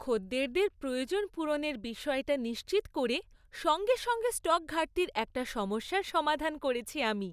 খদ্দেরদের প্রয়োজন পূরণের বিষয়টা নিশ্চিত করে সঙ্গে সঙ্গে স্টক ঘাটতির একটা সমস্যার সমাধান করেছি আমি।